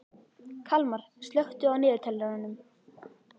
Kalmar, slökktu á niðurteljaranum.